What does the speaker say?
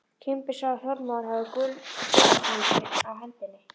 Kimbi sá að Þormóður hafði gullhring á hendi.